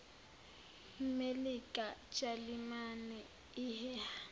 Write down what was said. melika jalimane iheha